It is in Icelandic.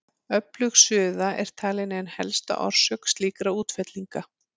Öflug suða er talin ein helsta orsök slíkra útfellinga.